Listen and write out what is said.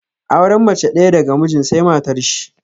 Auren mace ɗaya daga mijin sai matar shi